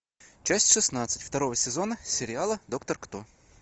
часть шестнадцать второго сезона сериала доктор кто